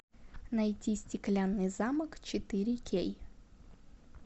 найти стеклянный замок четыре кей